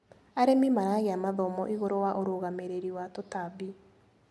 Arĩmi maragia mathomo igũrũ wa ũrugamĩrĩri wa tũtambi.